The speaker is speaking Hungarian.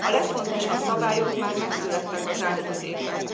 A legfontosabb szabályok már megszülettek az elmúlt évben.